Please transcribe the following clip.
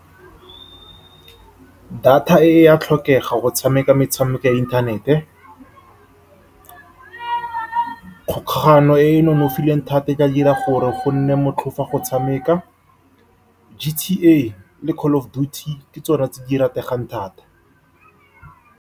Data e ya tlhokega go tshameka metshameko ya inthanete. Kgolagano e e nonofileng thata e ka dira gore go nne motlhofu go e tshameka, GTA le Call Of Duty, ke tsone tse di rategang thata.